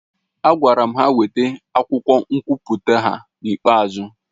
A gwara ha weta akwụkwọ nkwụpụta ha n'ikpe ọzọ